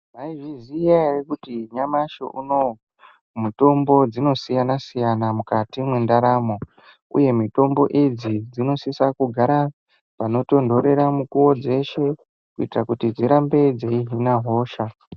Mwaizviziya ere kuti nyamashi unowo mitombo dzinosiyana siyana mukati mwendaramo uye mitombo idzi dzinosisa kugara panotonhorera mukuwo dzeshe kuitira kuti dzirambe dzeihina hosha.